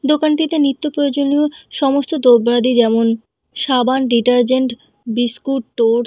দোকানটি তে নিত্য প্রয়োজনীয় সমস্ত দ্রব্যাদি যেমন সাবান ডিটার্জেন্ট বিস্কুট টোস্ট --